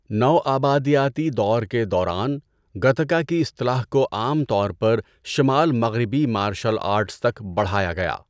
نوآبادیاتی دور کے دوران، گٹکا کی اصطلاح کو عام طور پر شمال مغربی مارشل آرٹس تک بڑھایا گیا۔